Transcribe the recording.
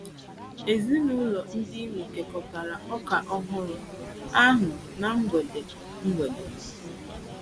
Ezinaụlọ ndị Imo kekọtara ọka ahụrụ ahụ na mgbede. mgbede.